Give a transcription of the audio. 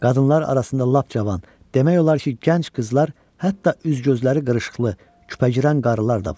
Qadınlar arasında lap cavan, demək olar ki, gənc qızlar, hətta üz gözləri qırışıqlı, küpəgirən qarılar da vardı.